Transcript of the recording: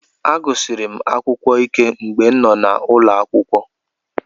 Mma nsikpep n̄kpọ etieti ke ini n̄kodude ke ufọkn̄wed.